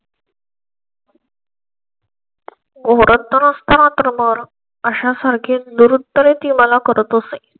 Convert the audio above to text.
ओळखत नसताना कर मोर अशा सारखे निरंतर आहे. ती मला करितसे